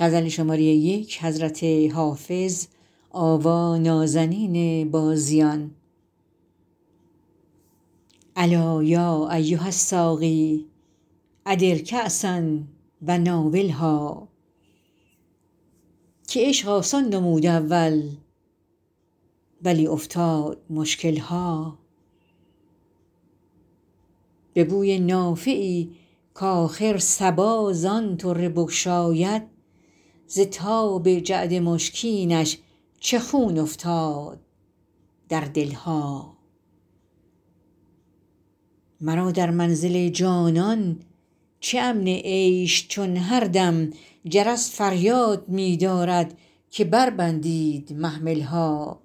الا یا ایها الساقی ادر کأسا و ناولها که عشق آسان نمود اول ولی افتاد مشکل ها به بوی نافه ای کآخر صبا زان طره بگشاید ز تاب جعد مشکینش چه خون افتاد در دل ها مرا در منزل جانان چه امن عیش چون هر دم جرس فریاد می دارد که بربندید محمل ها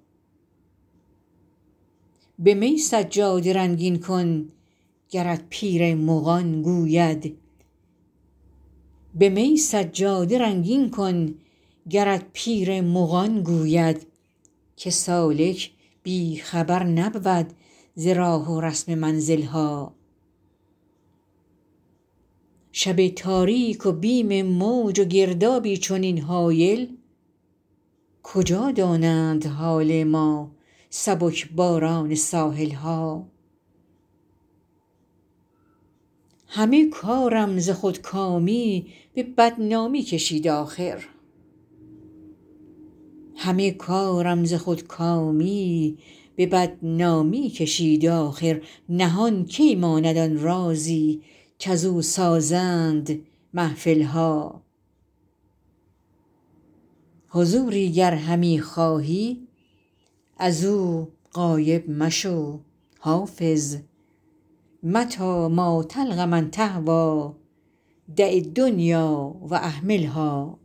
به می سجاده رنگین کن گرت پیر مغان گوید که سالک بی خبر نبود ز راه و رسم منزل ها شب تاریک و بیم موج و گردابی چنین هایل کجا دانند حال ما سبک باران ساحل ها همه کارم ز خودکامی به بدنامی کشید آخر نهان کی ماند آن رازی کزو سازند محفل ها حضوری گر همی خواهی از او غایب مشو حافظ متیٰ ما تلق من تهویٰ دع الدنیا و اهملها